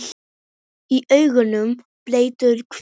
Í auganu blettur hvítur.